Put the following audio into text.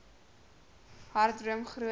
hard droom groot